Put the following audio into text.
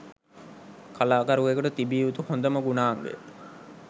කලාකරුවෙකුට තිබිය යුතු හොඳම ගුණාංගය